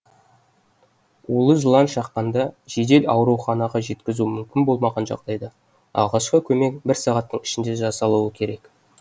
улы жылан шаққанда жедел ауруханаға жеткізу мүмкін болмаған жағдайда алғашқы көмек бір сағаттың ішінде жасалуы керек